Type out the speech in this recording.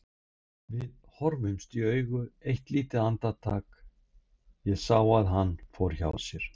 Við horfðumst í augu eitt lítið andartak, ég sá að hann fór hjá sér.